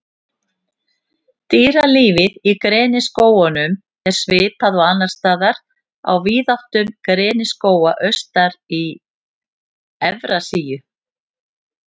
Dýralífið Í greniskógunum er svipað og annars staðar á víðáttum greniskóga austar í Evrasíu.